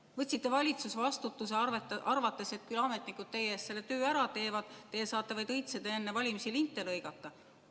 Kas te võtsite valitsusvastutuse, arvates, et küll ametnikud teie eest selle töö ära teevad, teie saate vaid õitseda ja enne valimisi linte lõigata?